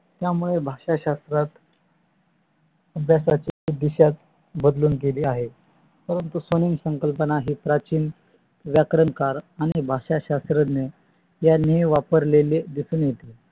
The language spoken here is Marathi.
त्यमुळे भाषा शास्त्रात भाषा शास्त्राची दिशाच बदलून गेली आहे. परंतु सउन संकल्पना ही प्राचीन व्याकरणकर आणि भाषा शस्रान्य यांनी वापरलेले